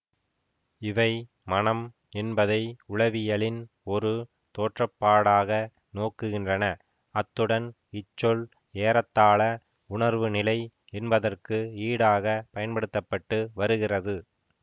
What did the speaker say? இவை மனம் என்பதை உளவியலின் ஒரு தோற்றப்பாடாக நோக்குகின்றன அத்துடன் இச்சொல் ஏறத்தாழ உணர்வு நிலை என்பதற்கு ஈடாகப் பயன்படுத்த பட்டு வருகிறது